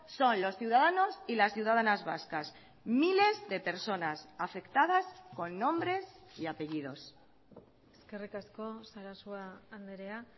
son los ciudadanos y las ciudadanas vascas miles de personas afectadas con nombres y apellidos eskerrik asko sarasua andrea